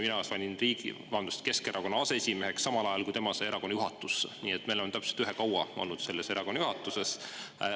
Mina sain riigi, vabandust, Keskerakonna aseesimeheks samal ajal, kui tema sai erakonna juhatusse, nii et me oleme täpselt ühe kaua olnud selles erakonna juhatuses.